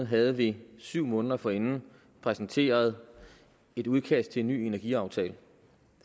havde vi syv måneder forinden præsenteret et udkast til en ny energiaftale